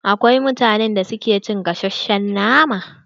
Akwai mutanen da ke cin gasashen nama.